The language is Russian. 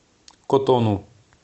котону